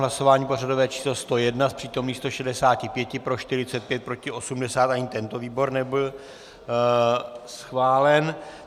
Hlasování pořadové číslo 101, z přítomných 165 pro 45, proti 80, ani tento výbor nebyl schválen.